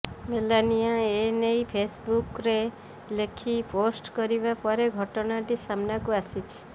Melania ଏ ନେଇ ଫେସ୍ବୁକ୍ରେ ଲେଖି ପୋଷ୍ଟ କରିବା ପରେ ଘଟଣାଟି ସାମ୍ନାକୁ ଆସିଛି